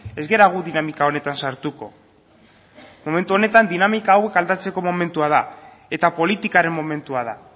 ez gara gu dinamika honetan sartuko momentu honetan dinamika hau aldatzeko momentua da eta politikaren momentua da